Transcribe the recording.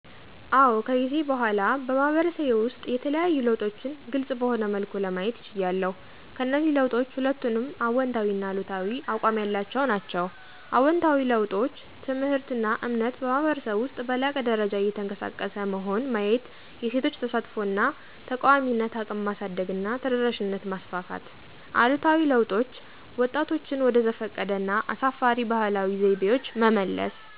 አዎ ከጊዜ በኋላ በማህበረሰቤ ውስጥ የተለዩ ለውጦችን ግልፅ በሆነ መልኩ ለማየት ችያለሁ። ከእነዚህ ለውጦች ሁለቱንም አዎንታዊና አሉታዊ አቋም ያላቸው ናቸው። አዎንታዊ ለውጦች: ትምህርትና እምነት በማኅበረሰብ ውስጥ በላቀ ደረጃ እየተቀሰቀሰ መሆን ማየት የሴቶች ተሳትፎ እና ተቃዋሚነት እቅም ማሳደግና ተደራሽነት ማስፋፋት አሉታዊ ለውጦች: ወጣቶችን ወደ ዘፈቀደ እና አሳፋሪ ባህላዊ ዘይቤዎች መመለስ።